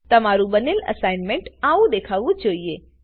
તમારું બનેલ અસાઇનમેન્ટ આવું દેખાવું જોઈએ